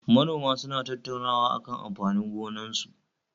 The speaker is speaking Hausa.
Manoman suna tattaunawa akan amfanin gonakinsu